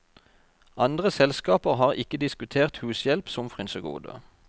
Andre selskaper har ikke diskutert hushjelp som frynsegode.